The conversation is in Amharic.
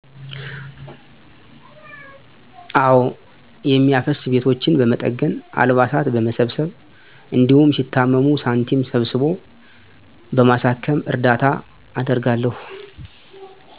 አወ። የሚያፈስ ቤቶችን በመጠገን፣ አልባሳት በመሰብሰብ፣ እንዲሁም ሲታመሙ ሳንቲም ሰብስቦ በማሳከም እርዳታ አደርጋለሁ።